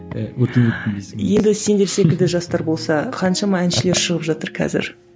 енді сендер секілді жастар болса қаншама әншілер шығып жатыр қазір